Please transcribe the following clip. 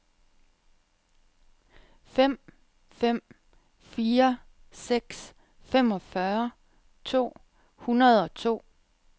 fem fem fire seks femogfyrre to hundrede og to